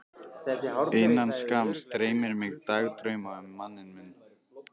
Innan skamms dreymir mig dagdrauma um manninn minn.